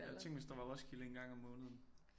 Ja tænk hvis der var Roskilde en gang om måneden